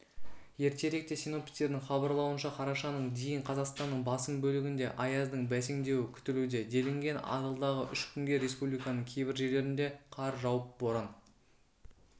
ертеректе синоптиктердің хабарлауынша қарашаның дейін қазақстанның басым бөлігінде аяздың бәсеңдеуі күтілуде делінген алдағы үш күнде республиканың кейбір жерлерінде қар жауып боран